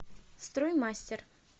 строй мастер